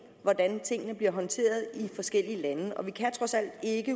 hvordan tingene bliver håndteret i forskellige lande ind og vi kan trods alt ikke